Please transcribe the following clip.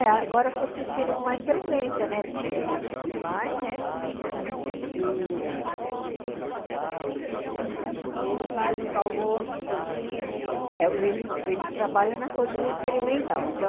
É, agora eu estou assistindo com mais frequência, né, porque ele ele vai, né, e... E ele faz os almoços assim, ele... É, ele ele trabalha na cozinha experimental, então...